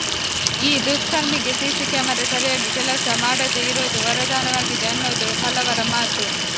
ಈ ದುಷ್ಕರ್ಮಿಗೆ CC camera ಸರಿಯಾಗಿ ಕೆಲಸ ಮಾಡದೇ ಇರೋದು ವರದಾನವಾಗಿದೆ ಅನ್ನೋದು ಹಲವರ ಮಾತು